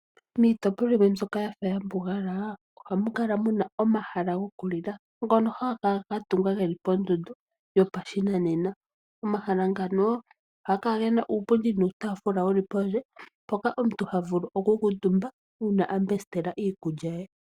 Miitopolwa yimwe mbyoka yafa ya mbugala ohamu kala muna omahala gokulila ngono haga kala ga tungwa geli pondondo yo pashinanena. Omahala ngano ohaga kala gena uupundi nuutaafula wuli pondje , mpoka omuntu ha vulu oku kuutumba uuna ambesitela iikulya ye.